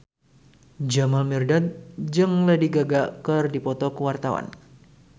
Jamal Mirdad jeung Lady Gaga keur dipoto ku wartawan